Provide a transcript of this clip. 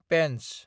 Pench